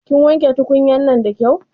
Kin wanke tukunya'nan da kyau?